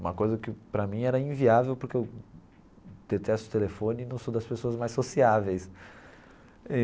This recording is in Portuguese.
Uma coisa que, para mim, era inviável porque eu detesto o telefone e não sou das pessoas mais sociáveis.